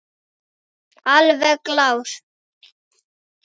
Alveg glás.